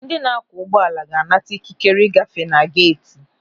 Ndị na-akwọ ụgbọala ga-anata ikikere ị gafee na-geeti.